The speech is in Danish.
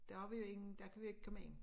Der har vi ingen der kan vi jo ikke komme ind